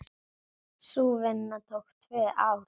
Sú vinna tók tvö ár.